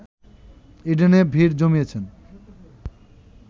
ইডেনে ভিড় জমিয়েছেন